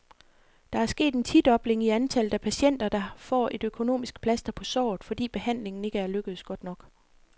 Der er sket en tidobling i antallet af patienter, der får et økonomisk plaster på såret, fordi behandlingen ikke er lykkedes godt nok.